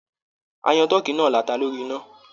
A yan tọ̀ọ́kí náà lata lórí iná.